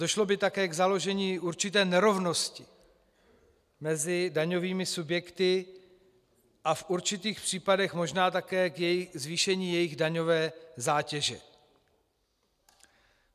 Došlo by také k založení určité nerovnosti mezi daňovými subjekty a v určitých případech možná také ke zvýšení jejich daňové zátěže.